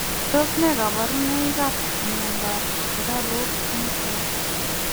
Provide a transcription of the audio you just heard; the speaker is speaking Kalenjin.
Tos nee kabarunoik ap miondoop sukaruuk netai?